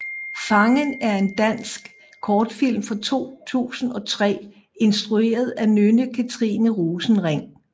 Fangen er en dansk kortfilm fra 2003 instrueret af Nønne Katrine Rosenring